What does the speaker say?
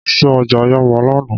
Mo lọ sí ọjà Yaba lánàá